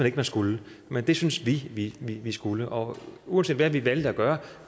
ikke man skulle men det syntes vi vi vi skulle og uanset hvad vi valgte at gøre